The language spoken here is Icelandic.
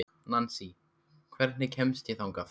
Nansý, hvernig kemst ég þangað?